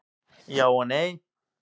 Já og nei.